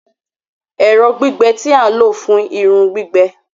Ẹrọ gbigbẹ ti a lo fun irun gbigbẹ